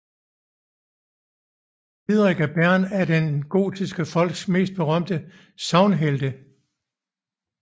Didrik af Bern er en af de gotiske folks mest berømte sagnhelte